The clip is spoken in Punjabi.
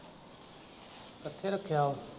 ਕਿੱਥੇ ਰੱਖਿਆ?